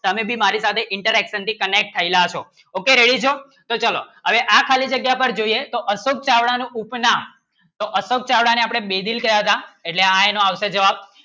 તમેં ભી મારી સાથે Interaction થી Connect થયેલા છો Okay Ready છો અવે આ ખાલી જગ્યા પર જોઈએ તો અશોક ચાવડા નું ઉપ નામ એટલે આપણે બેદિલ કહ્યાં હતા એટલે હા એનું આવશે જવાબ